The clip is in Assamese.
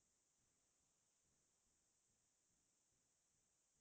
বৰদোৱানী বুলি উপন্যাসখন মই পঢ়ি খুবে ভাল পালো